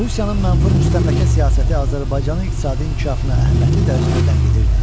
Rusiyanın mənfur müstəmləkə siyasəti Azərbaycanın iqtisadi inkişafını əhəmiyyətli dərəcədə ləngidirdi.